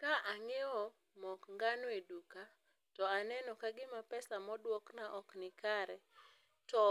Ka ang'iewo mok ngano e duka to aneno ka gima pesa moduokna ok nikare, to